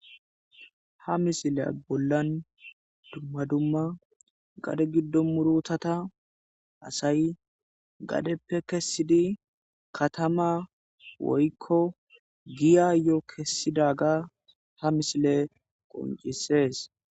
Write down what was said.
Ha misileza bollan dumma dumma gade murutata assay gadeppe kessidi kattama woykko giyayo kessidaga ha missiley qonccises.